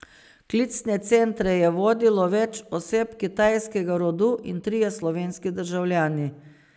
Klicne centre je vodilo več oseb kitajskega rodu in trije slovenski državljani.